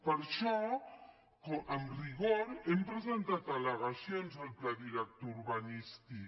per això amb rigor hem presentat al·legacions al pla director urbanístic